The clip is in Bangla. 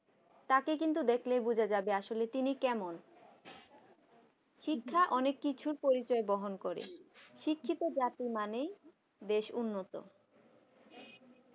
তাকে কিন্তু দেখলেই বোঝা যাবে আসলে তিনি কেমন শিক্ষা অনেক কিছু পরিচয় বহন করে শিক্ষিত জাতি মানেই বেশ উন্নত